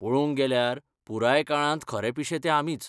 पळोवंक गेल्यार, पुराय काळांत खरे पिशे ते आमीच.